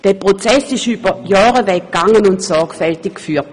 Dieser Prozess dauerte über mehrere Jahre an und wurde sorgfältig geführt.